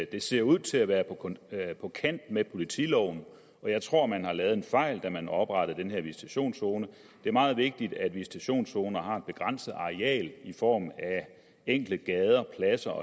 det ser ud til at være på kant med politiloven og jeg tror man har lavet en fejl da man oprettede den her visitationszone det er meget vigtigt at visitationszoner har et begrænset areal i form af enkelte gader pladser